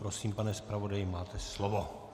Prosím, pane zpravodaji, máte slovo.